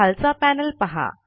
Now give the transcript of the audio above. खालचा पैनल पहा